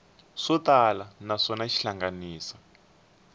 swo tala naswona xi hlanganisa